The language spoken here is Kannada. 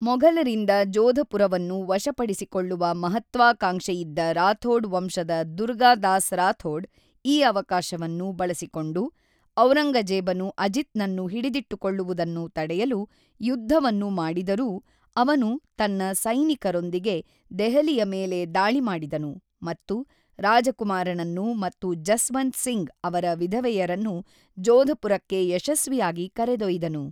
ಮೊಘಲರಿಂದ ಜೋಧಪುರವನ್ನು ವಶಪಡಿಸಿಕೊಳ್ಳುವ ಮಹತ್ವಾಕಾಂಕ್ಷೆಯಿದ್ದ ರಾಥೋಡ್ ವಂಶದ ದುರ್ಗಾದಾಸ್ ರಾಥೋಡ್ ಈ ಅವಕಾಶವನ್ನು ಬಳಸಿಕೊಂಡು ಔರಂಗಜೇಬನು ಅಜಿತ್‌ನನ್ನು ಹಿಡಿದಿಟ್ಟುಕೊಳ್ಳುವುದನ್ನು ತಡೆಯಲು ಯುದ್ಧವನ್ನು ಮಾಡಿದರೂ, ಅವನು ತನ್ನ ಸೈನಿಕರೊಂದಿಗೆ ದೆಹಲಿಯ ಮೇಲೆ ದಾಳಿ ಮಾಡಿದನು ಮತ್ತು ರಾಜಕುಮಾರನನ್ನು ಮತ್ತು ಜಸ್ವಂತ್ ಸಿಂಗ್ ಅವರ ವಿಧವೆಯರನ್ನು ಜೋಧಪುರಕ್ಕೆ ಯಶಸ್ವಿಯಾಗಿ ಕರೆದೊಯ್ದನು.